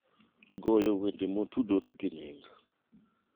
goyo wende motudore gi nying